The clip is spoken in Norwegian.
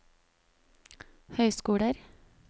høyskoler